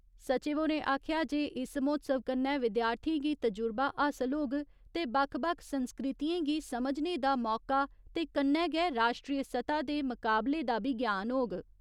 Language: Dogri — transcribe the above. सचिव होरें आखेआ जे इस म्होत्सव कन्नै विद्यार्थियें गी तजुुर्बा हासल होग ते बक्ख बक्ख संस्कृतियें गी समझने दा मौका ते कन्नै गै राश्ट्री सतह् दे मकाबले दा बी ज्ञान होग।